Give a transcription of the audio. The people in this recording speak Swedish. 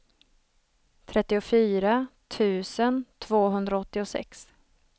trettiofyra tusen tvåhundraåttiosex